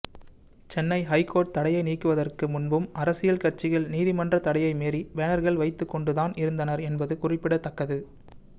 Chennai high court தடையை நீக்குவதற்கு முன்பும் அரசியல் கட்சிகள் நீதிமன்ற தடையை மீறி பேனர்கள் வைத்துகொண்டுதான் இருந்தனர் என்பது குறிப்பிடத்தக்கது